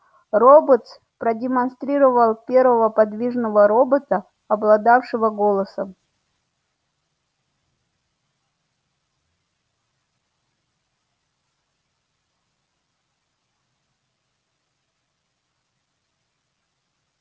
роботс продемонстрировал первого подвижного робота обладавшего голосом